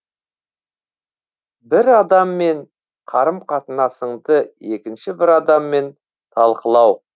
бір адаммен қарым қатынасыңды екінші бір адаммен талқылау